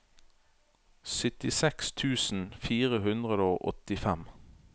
syttiseks tusen fire hundre og åttifem